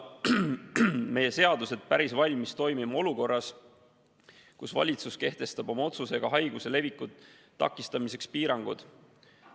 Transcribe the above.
Meie seadused polnud päris valmis toimima olukorras, kus valitsus kehtestab oma otsusega haiguse leviku takistamiseks piirangud.